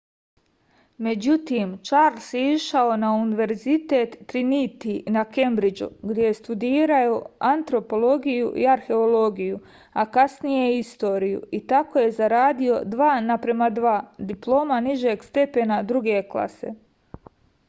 међутим чарлс је ишао на универзитет тринити на кембриџу где је студирао антропологију и археологију а касније и историју и тако је зарадио 2:2 диплома нижег степена друге класе